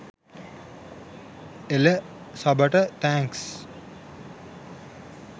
එළ සබට තෑන්ක්ස්.